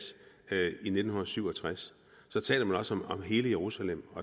i nitten syv og tres taler man også om hele jerusalem